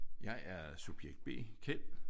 Jeg er subjekt B Kjeld